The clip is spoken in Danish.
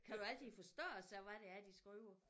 Kan du altid forstå også så hvad det er de skriver?